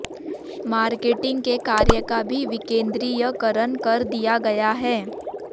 marketing के कार्य का भी विकेंद्रीयकरण कर दिया गया है